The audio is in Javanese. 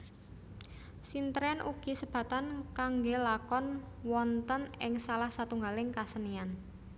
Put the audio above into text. Sintren ugi sebatan kanggelakon wonten ing salah satunggaling kasenian